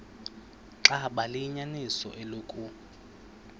xaba liyinyaniso eloku